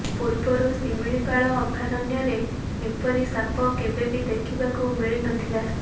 ପୂର୍ବରୁ ଶିମିଳିପାଳ ଅଭୟାରଣ୍ୟରେ ଏପରି ସାପ କେବେ ବି ଦେଖିବାକୁ ମିଳି ନ ଥିଲା